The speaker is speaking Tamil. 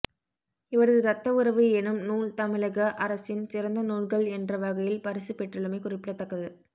இவரது ரத்த உறவு எனும் நூல் தமிழக அரசின் சிறந்த நூல்கள் என்ற வகையில் பரிசு பெற்றுள்ளமை குறிப்பிடத்தக்கது